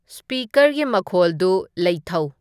ꯁ꯭ꯄꯤꯀꯔꯒꯤ ꯃꯈꯣꯜꯗꯨ ꯂꯩꯊꯧ